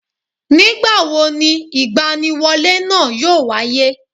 Nìgbàwo ni ìgbaniwọlé náà yóò wáyé